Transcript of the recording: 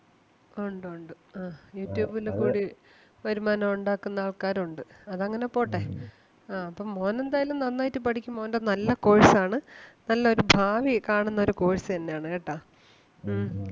ഒണ്ട്, ഒണ്ട് അഹ് youtube ല് കൂടി വരുമാനം ഒണ്ടാക്കുന്ന ആൾക്കാര് ഒണ്ട് അത് അങ്ങനെ പോട്ടെ. ആഹ് അപ്പം മോനെന്തായാലും നന്നായിട്ട് പഠിക്ക് മോന്റെ നല്ല course ആണ് നല്ല ഒരു ഭാവി കാണുന്ന ഒരു course തന്നെ ആണ് കേട്ടാ. ഉം